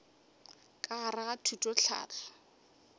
ka gare ga thuto tlhahlo